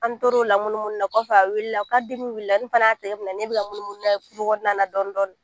An toro la munumunu na, kɔfɛ a wulila k'a dimi wulila ne fana y'a tɛgɛ minɛ ne bi munumunu n'a ye kungona na dɔɔni dɔɔni.